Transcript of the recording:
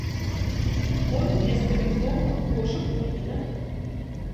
корм для стерилизованных кошек пурина